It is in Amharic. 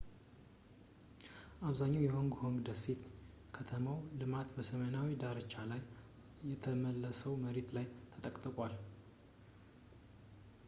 አብዛኛው የሆንግ ኮንግ ደሴት የከተማ ልማት በሰሜናዊው ዳርቻ ላይ ከተመለሰው መሬት ላይ ተጠቅጥቋል